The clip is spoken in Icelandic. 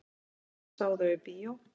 Hann sá þau í bíó.